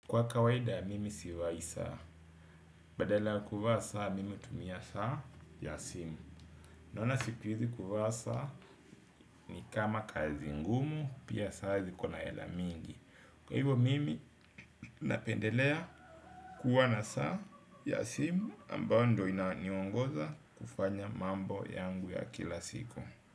Kwa kawaida mimi sivai saa. Badala ya kuvaa saa mimi hutumia saa ya simu. Naona sikuizi kuvaa saa ni kama kazi ngumu pia saa zikona hela mingi. Kwa hivo mimi napendelea kuwa na saa ya simu ambayo ndo inaniongoza kufanya mambo yangu ya kila siku.